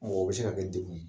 o bɛ se ka kɛ dekun ye.